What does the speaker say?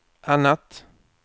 annat